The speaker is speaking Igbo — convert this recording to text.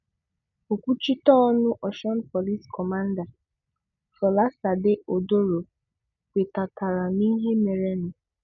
Òkwúchíté ọ́nụ́ Ọ̀sụ́n Pòlís kọ̀mándị̀, Fọ̀lásàdé Odoro kwètàtàrà n'íhé mérénụ